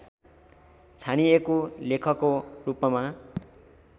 छानिएको लेखको रूपमा